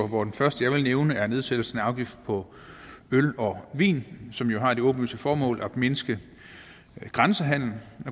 hvor det første jeg vil nævne er nedsættelsen af afgiften på øl og vin som jo har det åbenlyse formål at mindske grænsehandelen